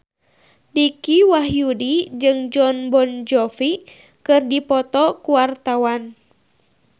Dicky Wahyudi jeung Jon Bon Jovi keur dipoto ku wartawan